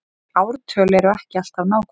Ártöl eru ekki alltaf nákvæm